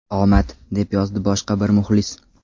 Omad”, deb yozdi boshqa bir muxlis.